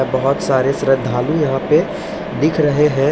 बहोत सारे श्रदालू यहाँ पे दिख रहे हैं।